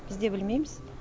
біз де білмейміз